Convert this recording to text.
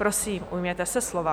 Prosím, ujměte se slova.